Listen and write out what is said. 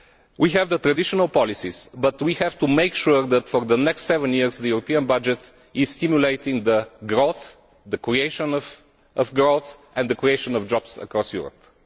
budget. We have the traditional policies here, but we have to make sure that for the next seven years the European budget stimulates growth, the creation of growth and the creation of jobs across